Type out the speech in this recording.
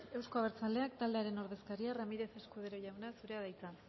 euzko abertzaleak taldearen ordezkaria ramirez escudero jaunak zurea da hitza